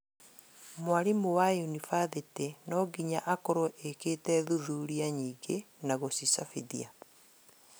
Mwarimũ wa yunibathĩtĩ nonginya akorwo ekĩte thuthuria nyingĩ na gucicabithia